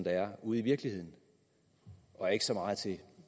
er ude i virkeligheden og ikke så meget til